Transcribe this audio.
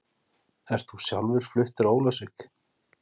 Ert þú sjálfur fluttur á Ólafsvík?